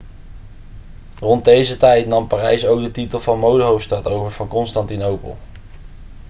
rond deze tijd nam parijs ook de titel van modehoofdstad over van constantinopel